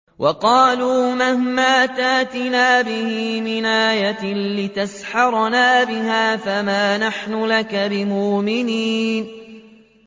وَقَالُوا مَهْمَا تَأْتِنَا بِهِ مِنْ آيَةٍ لِّتَسْحَرَنَا بِهَا فَمَا نَحْنُ لَكَ بِمُؤْمِنِينَ